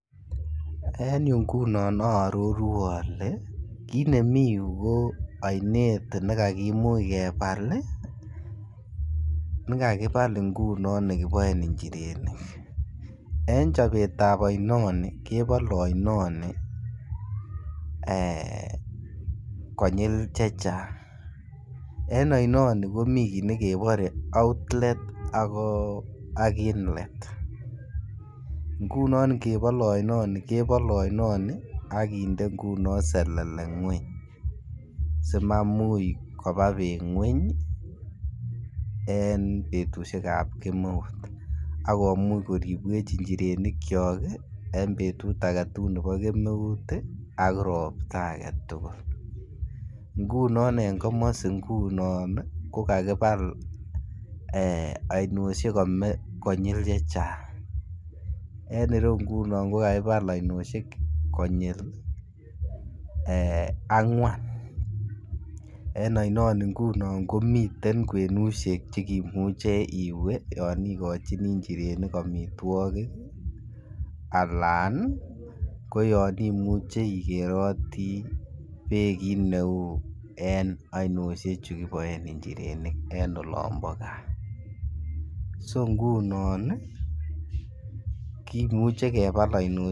En yuu ngunon oo ororu ngunon ole kiit nemii yuu ko oinet ne kakimuch kebal ii nekakibal ngunon ne kiboen njirenik en chobetab oino nii kebole oino nii eeh kochil chechang. En oinonii komiten kii nekebore outlet ak inlet. Ngunon ngebole oinon kobole oinonii okinde ngunon selele ngweny si mamuch kobaa beek ngweny ii en betushek ab kemeut ak komuch ko ribwech njirenikyok en betut agetugul nebo kemeut ak ropta agetugul. Ngunon en komosii ngunon ko kakibal eeh oinoshek konyil chechang en ireyu ngunon ko kakibal oinoshek konyil angwan. En oinonii ngunon komiten kwenushek chekimuche iwee youn igochinii njirenik omitwokik alan ko yon imuche ikeroti beek kiit be uu en oinoshek chu kiboen njirenik en olombo gaa, so ngunon ii kimuche kebal oinoshek